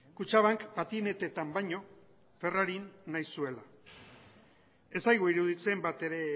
kutxabank patineteetan baino ferrarin nahi zuela ez zaigu iruditzen batere